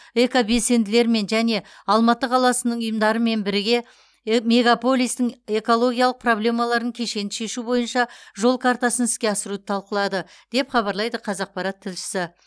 экобелсенділермен және алматы қаласының ұйымдарымен бірге э мегополистің экологиялық проблемаларын кешенді шешу бойынша жол картасын іске асыруды талқылады деп хабарлайды қазақпарат тілшісі